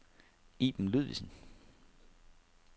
Iben Ludvigsen